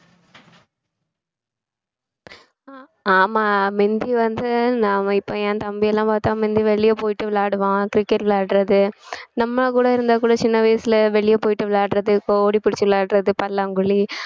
ஆமா முந்தி வந்து நாம இப்ப என் தம்பிலாம் பாத்தா முந்தி வெளிய போயிட்டு விளையாடுவான் cricket விளையாடுறது நம்ம கூட இருந்தா கூட சின்ன வயசுல வெளிய போயிட்டு விளையாடுறது இப்ப ஓடிப்புடிச்சு விளையாடுறது பல்லாங்குழி